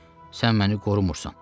Sən məni qorumursan.